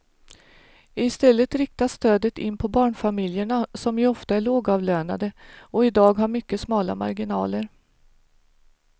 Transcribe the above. I stället riktas stödet in på barnfamiljerna som ju ofta är lågavlönade och i dag har mycket smala marginaler.